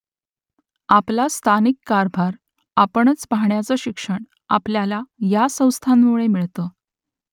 आपला स्थानिक कारभार आपणच पाहण्याचं शिक्षण आपल्याला या संस्थांमुळे मिळतं